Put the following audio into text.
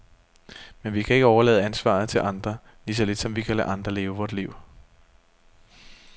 Men vi kan ikke overlade ansvaret til andre, lige så lidt som vi kan lade andre leve vort liv.